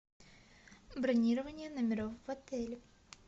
бронирование номеров в отеле